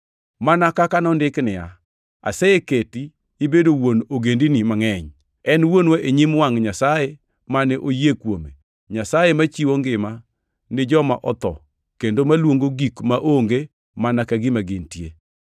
Mana kaka ondiki niya, “Aseketi ibedo wuon ogendini mangʼeny.” + 4:17 \+xt Chak 17:5\+xt* En wuonwa e nyim wangʼ Nyasaye mane oyie kuome, Nyasaye machiwo ngima ni joma otho kendo maluongo gik maonge mana ka gima gintie.